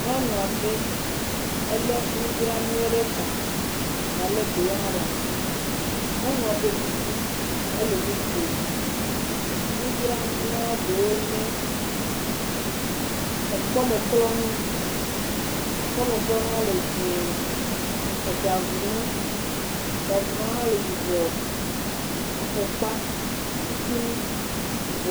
Nyɔnu aɖe, elé nudranuwo ɖe ta gale ɖewo ɖe asi, nyɔnua ɖo kuku ele nu kome nudranu ɖewo nye, ekpɔmlɔnu, kpɔmeklɔnua le dzɛ̃e, eɖavunu, ɖavunua hã le yibɔ, afɔkpatutunu, yibɔ.